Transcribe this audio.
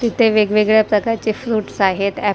तिथे वेगवेगळ्या प्रकारचे फ्रुट्स आहेत ॲ --